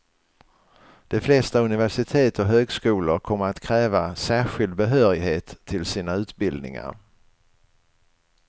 De flesta universitet och högskolor kommer att kräva särskild behörighet till sina utbildningar.